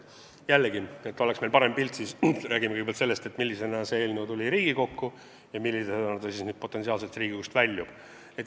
Jällegi, et oleks parem pilt, seletan kõigepealt, millisena see eelnõu tuli Riigikokku ja millisena ta potentsiaalselt siit väljub.